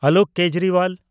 Alok Kejriwal